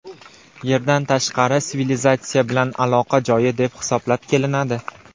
Yerdan tashqari sivilizatsiya bilan aloqa joyi deb hisoblab kelinadi.